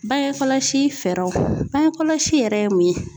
Bangekɔlɔsi fɛɛrɛw bangekɔlɔsi yɛrɛ ye mun ye ?